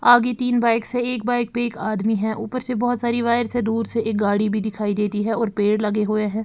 आगे तीन बाइक्स हैं एक बाइक पर एक आदमी है ऊपर से बहोत सारी वायर्स है दूर से एक गाड़ी भी दिखाई देती है और पेड़ लगे हुए है।